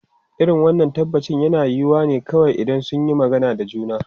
Irin wannan tabbaci yana yiwuwa ne kawai idan sun yi magana da juna.